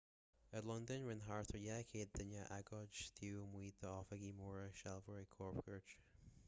i londain rinne thart ar 200 duine agóid taobh amuigh d'oifigí móra sealbhóirí cóipchirt